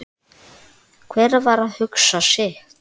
Hver var að hugsa sitt.